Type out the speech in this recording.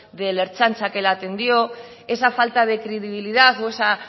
de la ertzaintza que le atendió esa falta de credibilidad o esa